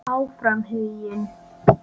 Áfram Huginn.